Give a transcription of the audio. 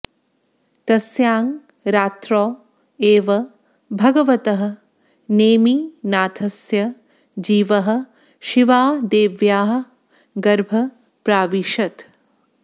तस्यां रात्रौ एव भगवतः नेमिनाथस्य जीवः शिवादेव्याः गर्भं प्राविशत्